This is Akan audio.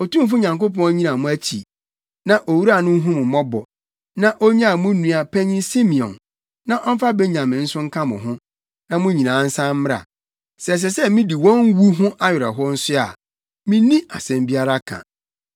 Otumfo Nyankopɔn nnyina mo akyi, na owura no nhu mo mmɔbɔ, na onyaa mo nua panyin Simeon, na ɔmfa Benyamin nso nka mo ho, na mo nyinaa nsan mmra. Sɛ ɛsɛ sɛ midi wɔn wu ho awerɛhow nso a, minni asɛm biara ka.”